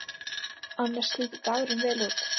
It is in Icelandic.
Annars líti dagurinn vel út